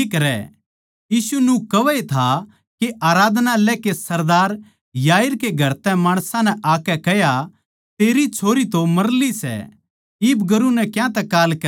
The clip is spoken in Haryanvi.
यीशु न्यू कहवै था के आराधनालय कै सरदार याईर कै घर तै माणसां नै आकै कह्या तेरी छोरी तो मर ली सै इब गुरू नै क्यांतै कांल करै सै